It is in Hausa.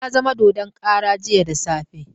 Wani ya zama dodon kara jiya da safe.